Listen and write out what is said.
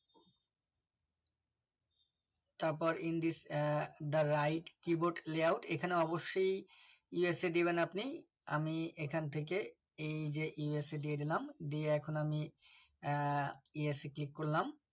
তারপর in this uh the right keyboard layout এখানে অবশ্যই esc দেবেন আপনি আমি এখান থেকে এই যে esc দিয়ে দিলাম দিয়ে এখন আমি আহ esc click করলাম